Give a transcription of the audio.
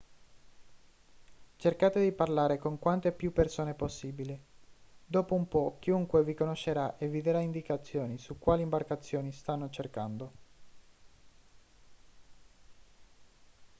cercate di parlare con quante più persone possibile dopo un po' chiunque vi conoscerà e vi darà indicazioni su quali imbarcazioni stanno cercando